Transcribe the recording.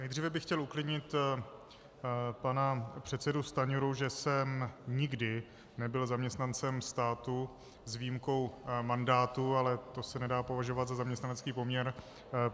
Nejdříve bych chtěl uklidnit pana předsedu Stanjuru, že jsem nikdy nebyl zaměstnancem státu s výjimkou mandátu, ale to se nedá považovat za zaměstnanecký poměr.